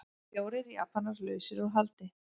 Fjórir Japanar lausir út haldi